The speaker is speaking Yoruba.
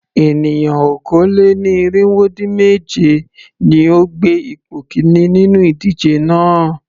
Ènìyàn okòó-lé-ní-irínwó-dín-mèje ni ó gbé ipò kìíní nínú ìdíje náà.